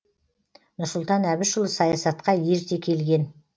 нұрсұлтан әбішұлы саясатқа ерте келген